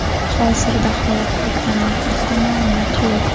Hozirda halok bo‘lganlar haqida maʼlumot yo‘q.